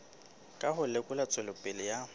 ka ho lekola tswelopele ya